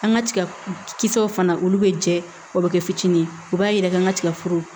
An ka tiga kisɛw fana olu bɛ jɛ o bɛ kɛ fitinin ye u b'a yɛrɛkɛ an ka tigaforo